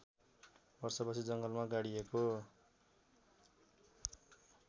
वर्षपछि जङ्गलमा गाडिएको